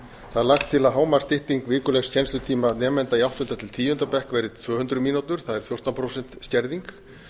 það er lagt til að hámarksstytting vikulegs kennslutíma nemenda í áttunda til tíunda bekk verði tvö hundruð mínútur það er fjórtán prósent skerðing